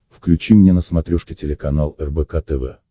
включи мне на смотрешке телеканал рбк тв